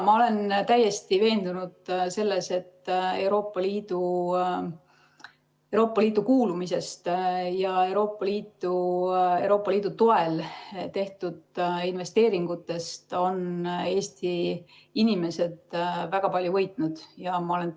Ma olen täiesti veendunud selles, et Euroopa Liitu kuulumisest ja Euroopa Liidu toel tehtud investeeringutest on Eesti inimesed väga palju võitnud ja ma olen ...